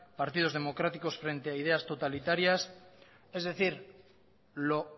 partidos democráticos frente a ideas totalitarias es decir lo